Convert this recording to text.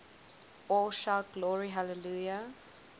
all shout glory hallelujah